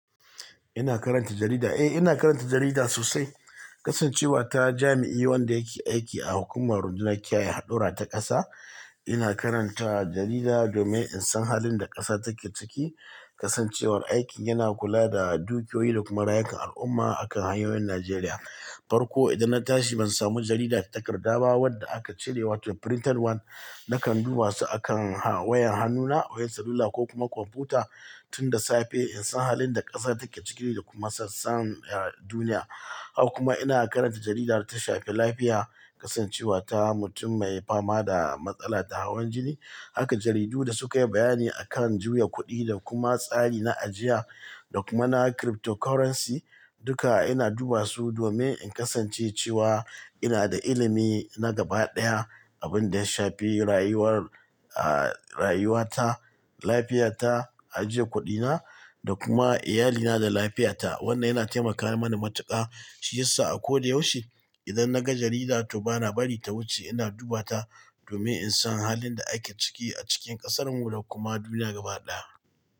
Ina karanta jarida? Eh, ina karanta jarida sosai. Kasancewa ta jami'i wanda yake aiki a hukumar rundunar kiyaye haɗura ta ƙasa, ina karanta jarida domin in san halin da ƙasa take ciki. Kasancewar aikin yana kula da dukiyoyi da kuma rayukan al'umma akan hanyoyin Najeriya. Farko idan na tashi ban samu jarida ta takarda ba, wadda aka cirewa ta printed one, na kan duba su akan ha-wayan hannuna, wayan salula ko kuma kwamfuta tun da safe in san halin da ƙasa take ciki da kuma sassan, eh, duniya. Haka kuma ina karanta jaridar ta shafi lafiya kasancewa ta mutum mai fama da matsala ta hawan jini. Haka jaridu da suka yi bayani a kan juya kuɗi da kuma tsari na ajiya da kuma na cryptocurrency, duka ina duba su domin in kasance cewa ina da ilimi na gaba ɗaya. Abin da ya shafi rayuwar, ah, rayuwata, lafiyata, ajiye kuɗina da kuma iyalina da lafiyata. Wannan yana taimaka mani matuƙa. Shi ya sa a ko da yaushe idan na ga jarida to ba na bari ta wuce. Ina duba ta domin in san halin da ake ciki a cikin ƙasarmu da kuma duniya gaba ɗaya.